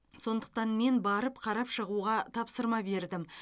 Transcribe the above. сондықтан мен барып қарап шығуға тапсырма бердім